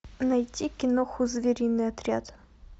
найти киноху звериный отряд